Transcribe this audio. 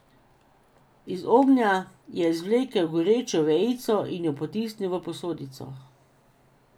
Iz ognja je izvlekel gorečo vejico in jo potisnil v posodico.